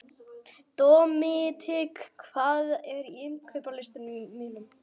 Dominik, hvað er á innkaupalistanum mínum?